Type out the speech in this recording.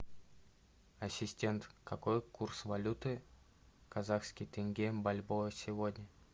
ассистент какой курс валюты казахский тенге бальбоа сегодня